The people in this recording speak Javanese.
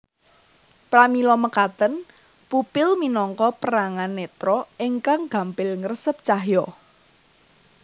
Pramila mekaten pupil minangka perangan netra ingkang gampil ngresep cahya